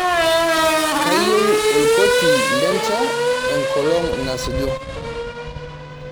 kayieu orkoti lencha enkolong' nasuju